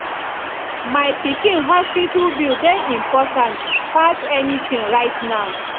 my pikin hospital bill dey important pass anything right now